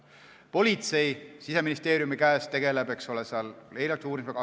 Politsei, mis on Siseministeeriumi asutus, tegeleb eeluurimisega.